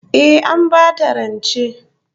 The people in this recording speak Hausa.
Eh, An bata rancen